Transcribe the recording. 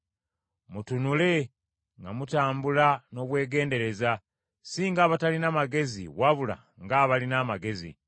Mutunule nga mutambula n’obwegendereza, si ng’abatalina magezi wabula ng’abalina amagezi,